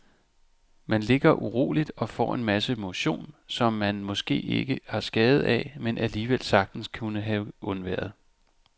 Man ligger uroligt og får en masse motion, som man måske ikke har skade af, men alligevel sagtens kunne have undværet.